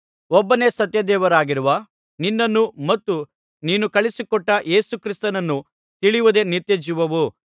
ಒಬ್ಬನೇ ಸತ್ಯ ದೇವರಾಗಿರುವ ನಿನ್ನನ್ನೂ ಮತ್ತು ನೀನು ಕಳುಹಿಸಿಕೊಟ್ಟ ಯೇಸು ಕ್ರಿಸ್ತನನ್ನೂ ತಿಳಿಯುವುದೇ ನಿತ್ಯಜೀವವು